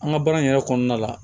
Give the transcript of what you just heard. An ka baara in yɛrɛ kɔnɔna la